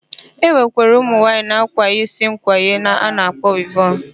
E nwekwara ụmụnwaanyị na-akwanye isi nkwanye a na-akpọ wivọn.